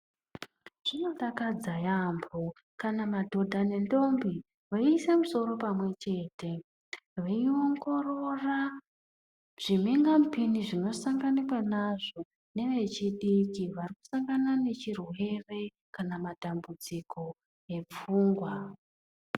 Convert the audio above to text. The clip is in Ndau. Zvinodakadza yambo kana madhodha nendombi veiise musoro pamwechete veiongorora zvimhinga mupini zvinosanganikwa nazvo nevechidiki varikusangana nechirwere kana matambudziko epfungwa.